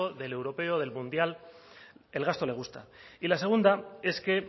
del europeo del mundial el gasto le gusta y la segunda es que